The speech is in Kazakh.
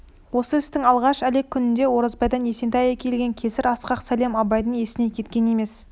осы істің алғаш әлек күнінде оразбайдан есентай әкелген кесір асқақ сәлем абайдың есінен кеткен емес